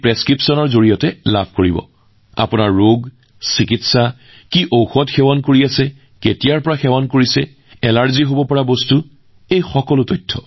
সেই স্লিপখনে আপোনাক আপোনাৰ অসুস্থতা চিকিৎসা আপুনি কি ঔষধ খাই আহিছে কিমান দিন চিকিৎসা কৰি আছে কি কি বস্তুৰ প্ৰতি আপোনাৰ এলাৰ্জী আছে সেই বিষয়ে জানিবলৈ সহায় কৰিব